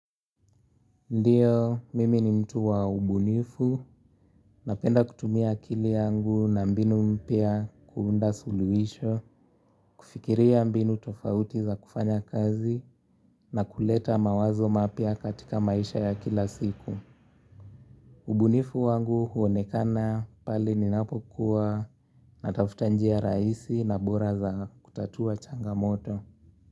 Ndio, mimi ni mtu wa ubunifu, napenda kutumia akili yangu na mbinu mpya kuunda suluhisho, kufikiria mbinu tofauti za kufanya kazi na kuleta mawazo mapya katika maisha ya kila siku. Ubunifu wangu huonekana pale ninapokuwa natafuta njia rahisi na bora za kutatua changamoto.